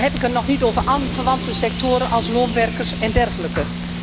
Dan heb ik het nog niet over aanverwante sectoren als loonwerkers en dergelijke.